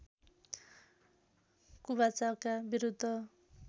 कुबाचाका विरूद्ध